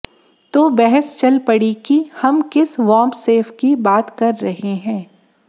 तो बहस चल पड़ी कि हम किस बामसेफ की बात कर रहे हैं